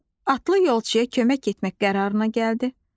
Atlı yolçuya kömək etmək qərarına gəldi.